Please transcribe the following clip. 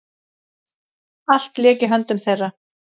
Allt lék í höndum þeirra.